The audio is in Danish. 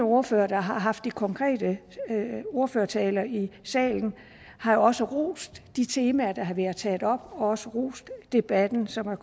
ordførere der har haft de konkrete ordførertaler i salen har jo også rost de temaer der har været taget op og også rost debatten som har